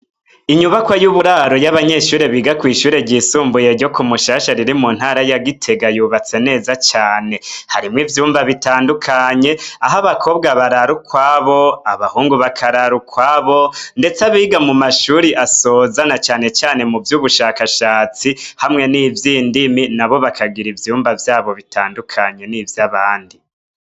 Inyubakwa y'uburaro y'abanyeshure biga kw'ishure ryisumbuye ryo ku Mushasha riri mu ntara ya Gitega yubatse neza cane harimwo ivyumba bitandukanye aho abakobwa barara ukwabo abahungu bakarara ukwabo ndetse abiga mu mashure asoza na cane cane mu vy'ubushakashatsi hamwe n'ivy'indimi na bo bakagira ivyumba vyabo bitandukanye n'ivyabandi.